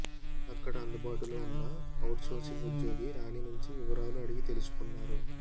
అక్కడ అందుబాటులో ఉన్న అవుట్ సోర్సింగ్ ఉద్యోగి రాణి నుంచి వివరాలు అడిగితెలుసుకున్నారు